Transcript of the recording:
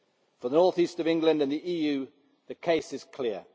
For the North East of England and the EU the case is clear